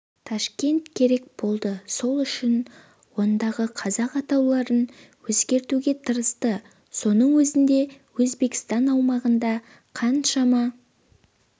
ташкент керек болды сол үшін ондағы қазақ атауларын өзгертуге тырысты соның өзінде өзбекстан аумағында қаншама